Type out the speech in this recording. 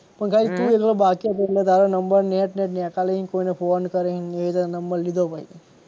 પણ ખાલી તું એકલો બાકી હતો એટલે તારો નંબર લઈ ને કોઈ ને ફોન કરી ને એ રીતે નંબર લીધો પછી